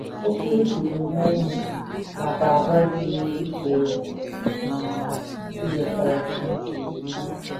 Okwu e kwuru n’ọnụ nakwa àgwà ziri ezi pụrụ iwetara Chineke otuto.